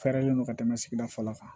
Fɛɛrɛlen don ka tɛmɛ sigida fɔlɔ kan